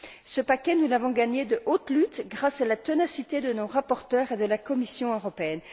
Ce paquet, nous l'avons gagné de haute lutte, grâce à la ténacité de nos rapporteurs et de la Commission européenne.